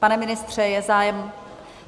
Pane ministře, je zájem?